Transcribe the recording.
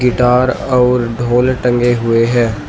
Guitar और ढोल टंगे हुए हैं।